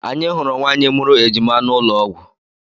Anyị hụrụ nwaanyị mụrụ ejima n'ụlọọgwụ.